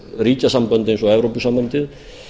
ríkjasambönd eins og evrópusambandið